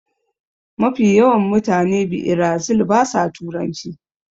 Mafi yawan mutane biirazil ba sa turanci